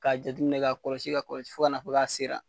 Ka jateminɛ ka kɔlɔsi, ka kɔlɔsi. Fo ka na fɔ k'a sera.